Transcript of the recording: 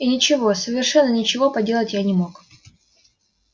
и ничего совершенно ничего поделать я не мог